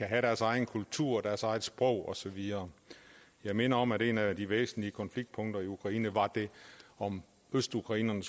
have deres egen kultur og deres eget sprog og så videre jeg minder om at et af de væsentligste konfliktpunkter i ukraine var om østukrainerne